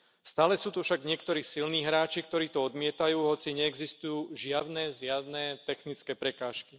Stále sú to však niektorí silní hráči, ktorí to odmietajú, hoci neexistujú žiadne zjavné technické prekážky.